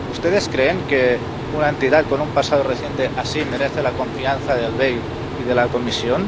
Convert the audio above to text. ¿Ustedes creen que una entidad con un pasado reciente así merece la confianza del BEI y de la Comisión?